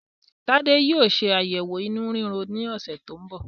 Tade yóò ṣe ayẹwo inú riro ní ọsẹ tí ń bọ̀